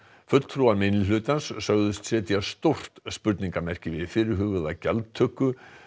fulltrúar minnihlutans sögðust setja stórt spurningarmerki við fyrirhugaða gjaldtöku